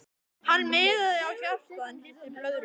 Hann miðaði á hjartað en hitti blöðruna.